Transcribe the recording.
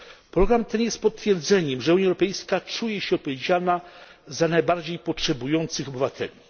Program ten jest potwierdzeniem, że Unia Europejska czuje się odpowiedzialna za najbardziej potrzebujących obywateli.